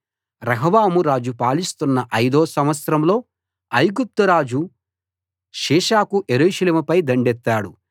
రెహబాము రాజు పాలిస్తున్న ఐదో సంవత్సరంలో ఐగుప్తు రాజు షీషకు యెరూషలేముపై దండెత్తాడు